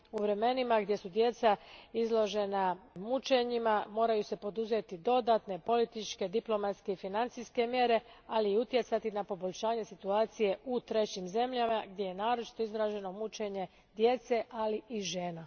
U vremenima gdje su djeca izložena mučenjima, moraju se poduzeti dodatne političke, diplomatske i financijske mjere, ali i utjecati na poboljšanje situacije u trećim zemljama gdje je naročito izraženo mučenje djece, ali i žena.